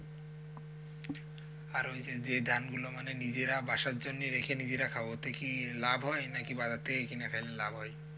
আর ওইযে যে ধান গুলো মানে নিজেরা বাসার জন্য রেখে নিজেরা খাবো ওতে কি লাভ হয় নাকি বাজার থেকে কিনে খাইলে লাভ হয়?